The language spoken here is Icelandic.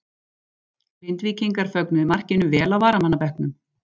Grindvíkingar fögnuðu markinu vel á varamannabekknum.